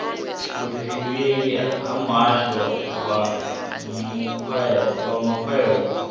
vhudifhinduleleli ha muhasho wa makwevho